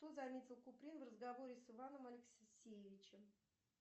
что заметил куприн в разговоре с иваном алексеевичем